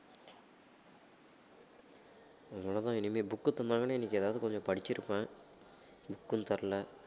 அவ்வளதான் இனிமே book தந்தாங்கன்னா இன்னைக்கு ஏதாவது கொஞ்சம் படிச்சிருப்பேன் book உம் தரல